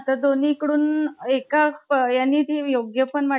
तर दोन्ही कडून एका ह्यांनी हे योग्य पण वाटत